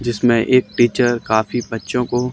जिसमें एक टीचर काफी बच्चों को--